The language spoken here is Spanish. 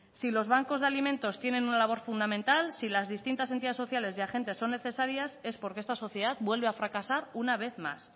si los bancos de alimentos tienen una labor fundamental si las distintas entidades sociales y agentes son necesarias es porque esta sociedad vuelve a fracasar una vez más